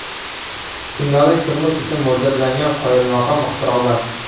Kundalik turmush uchun mo‘ljallangan qoyilmaqom ixtirolar .